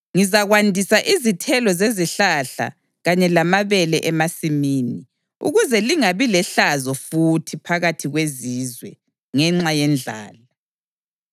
Ngizakwandisa izithelo zezihlahla kanye lamabele emasimini, ukuze lingabi lehlazo futhi phakathi kwezizwe ngenxa yendlala.